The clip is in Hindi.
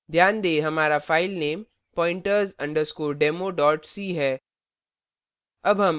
ध्यान दें हमारा file pointers _ demo c है